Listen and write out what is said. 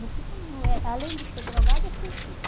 Meu filho, é além de ser drogado, é suicida.